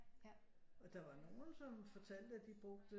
Og der var nogen som fortalte at de brugte